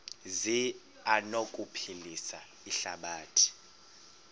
zi anokuphilisa ihlabathi